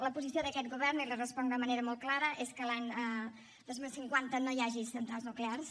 la posició d’aquest govern i li responc de manera molt clara és que l’any dos mil cinquanta no hi hagi centrals nuclears